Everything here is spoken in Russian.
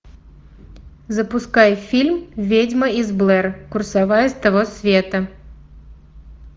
запускай фильм ведьма из блэр курсовая с того света